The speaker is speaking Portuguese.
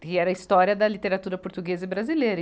que era a história da literatura portuguesa e brasileira.